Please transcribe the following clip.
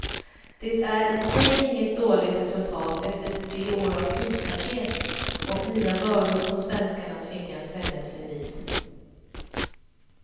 Det är i sig inget dåligt resultat efter de år av krispaket och nya bördor som svenskarna tvingats vänja sig vid.